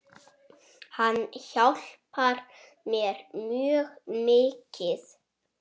Hann hjálpar mér mjög mikið.